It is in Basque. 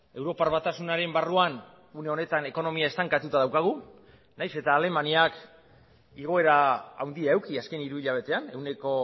europar batasunaren barruan une honetan ekonomia estankatuta daukagu nahiz eta alemaniak igoera handia eduki azken hiru hilabetean ehuneko